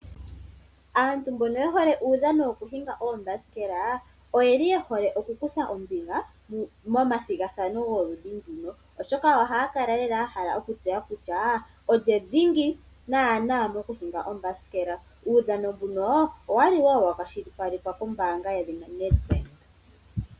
Aantu mbono ye hole uudhano wokuhinga uuthanguthangu, oye hole oku kutha ombinga momadhigathano goludhi nduka, oshoka ohaya kala ya hala okutseya kutya olye naana dhingi mokuhinga uuthanguthangu. Uudhano woludhi nduno, owali wo wa kwashilipalekwa kombaanga yedhina NEDBANK.